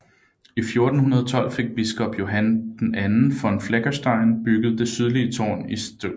I 1412 fik biskop Johann II von Fleckenstein bygget det sydlige tårn i St